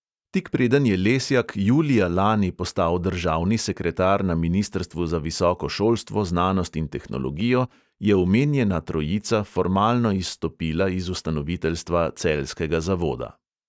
Tik preden je lesjak julija lani postal državni sekretar na ministrstvu za visoko šolstvo, znanost in tehnologijo, je omenjena trojica formalno izstopila iz ustanoviteljstva celjskega zavoda.